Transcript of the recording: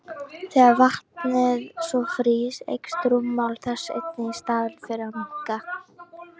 Þegar vatnið svo frýs eykst rúmmál þess einnig í staðinn fyrir að minnka!